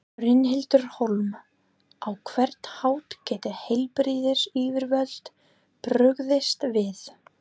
Brynhildur Hólm: Á hvern hátt geta heilbrigðisyfirvöld brugðist við?